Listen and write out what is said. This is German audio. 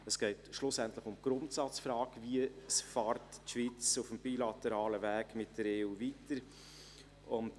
es geht schlussendlich um die Grundsatzfrage, wie die Schweiz auf dem bilateralen Weg mit der EU weiterfährt.